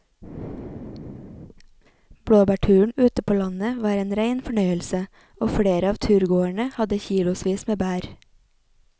Blåbærturen ute på landet var en rein fornøyelse og flere av turgåerene hadde kilosvis med bær.